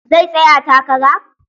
Zai tsaya takara?